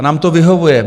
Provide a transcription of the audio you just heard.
A nám to vyhovuje.